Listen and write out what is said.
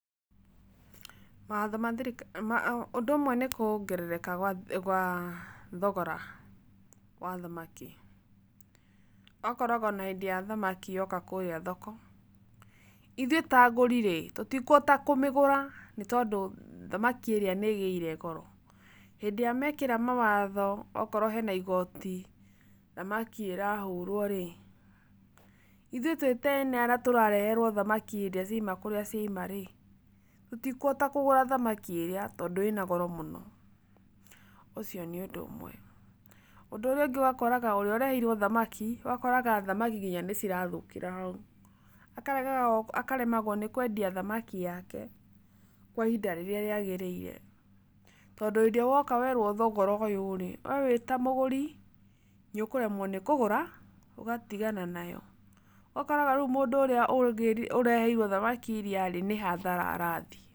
Mawatho ma thirikari, ũndu umwe ni kuongerereka kwa thogora wa thamaki ,akoragwo na endia a thamaki moka kũria thoko, ithuĩ ta agũri-rĩ tũtikuhota kũmĩgũra tondũ thamaki ĩrĩa nĩ ĩgĩire goro, hĩndĩ ĩrĩa mekĩra mawatho okorwo he na igotĩ thamaki ĩrahũrwo-rĩ iĩthũi twĩ arĩa marareherwoo thamaki hĩndĩ ciauma kũrĩa cĩima-rĩ tũtikũhota kũgũra thamaki iyo tondũ ĩna goro mũno, ũcio nĩ ũndũ ũmwe. Ũndũ ũrĩa ũngĩ ũgakora ũrĩa ũrehire thamaki ũgakora nginya thamaki nĩcirathũkĩra hau, akaremagwo nĩ kwendia thamaki yake kwa ihinda rĩrĩa rĩagĩrĩire tondũ rĩrĩa woka werwo thogora ũũ we wĩta mũgũri nĩũkũremwo kũgũra ũgatigana nayo, ũgakora mundu ũria ũrehire thamaki nĩ hathara arathĩe